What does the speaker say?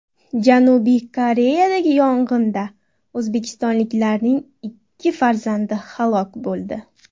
Janubiy Koreyadagi yong‘inda o‘zbekistonliklarning ikki farzandi halok bo‘ldi.